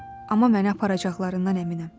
Amma məni aparacaqlarından əminəm.